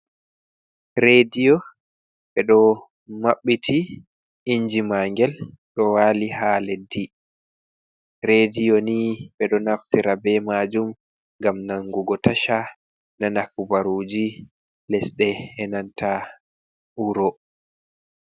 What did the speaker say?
Rediyo be do mabbiti inji mangel do wali ha leddi. Rediyo ni ɓeɗo naftira be majum gam nangugo tasha nana hubaruji lesde enanta wuro.